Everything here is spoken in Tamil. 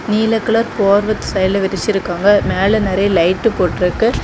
நீல கலர் போர்வ சைடுல விரிச்சிருக்காங்க மேல நறைய லைட்டு போட்ருக்கு.